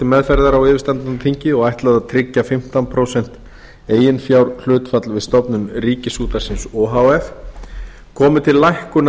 til meðferðar á yfirstandandi þingi og ætlað er að tryggja fimmtán prósent eiginfjárhlutfall við stofnun ríkisútvarpsins o h f komi til lækkunar